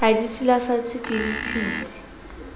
ha di silafatswe ke ditshintshi